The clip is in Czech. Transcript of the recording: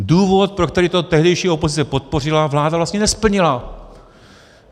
Důvod, pro který to tehdejší opozice podpořila, vláda vlastně nesplnila.